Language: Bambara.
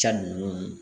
Ja ninnu